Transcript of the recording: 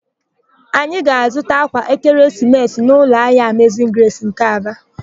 Anyị ga-azụta ákwà ekeresimesi n'ụlọahịa Amezin Gresi nke Aba.